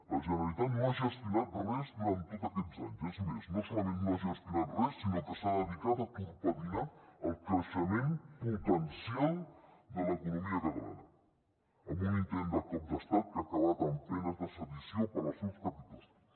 la generalitat no ha gestionat res durant tots aquests anys és més no solament no ha gestionat res sinó que s’ha dedicat a torpedinar el creixement potencial de l’economia catalana amb un intent de cop d’estat que ha acabat amb penes de sedició per als seus capitostos